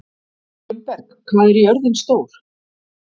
Gunnberg, hvað er jörðin stór?